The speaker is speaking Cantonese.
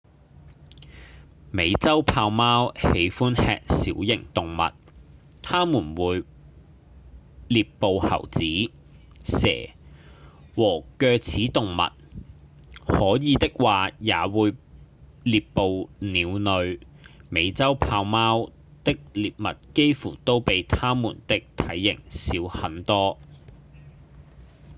美洲豹貓喜歡吃小型動物牠們會獵捕猴子、蛇和齧齒動物可以的話也會獵捕鳥類美洲豹貓的獵物幾乎都比牠們的體型小很多